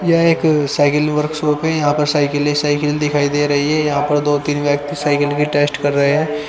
यह एक cycle works shop है यहां पर साइकल ही साइकल दिखाई दे रही है यहां पर दो तीन व्यक्ति साइकल की टेस्ट कर रहे हैं।